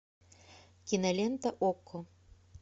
кинолента окко